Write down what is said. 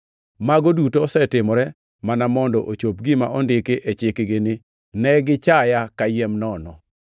Mago duto osetimore mana mondo ochop gima ondiki e chikgi ni, ‘Ne gichaya kayiem nono.’ + 15:25 \+xt Zab 35:19; 69:4\+xt*